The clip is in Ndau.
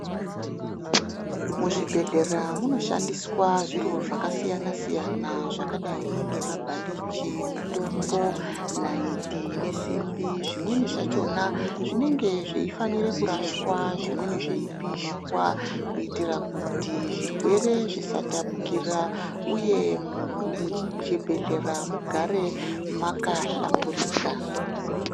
Muzvibhedhlera munoshandiswa zviro zvakasiyana siyana zvakadai ngemabhandichi mutombo naiti nesimbi zvimweni zvachona zvinenge zveifanire kurashwa zvimweni zveipishwa kuitre kuti zvirwere zvisatapukira uye muchi muchibhedhlera mugare makahlamburika.